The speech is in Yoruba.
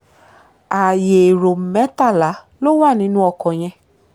ààyè ẹ̀rọ mẹ́tàlá ló wà nínú ọkọ̀ yẹn